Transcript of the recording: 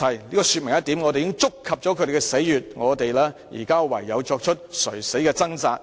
這說明一點，我們已觸及了他們的死穴，他們現在唯有作出垂死的掙扎。